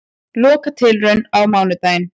Lokatilraun á mánudaginn